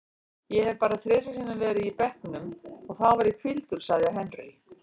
Ég hef bara þrisvar sinnum verið á bekknum og þá var ég hvíldur, sagði Henry.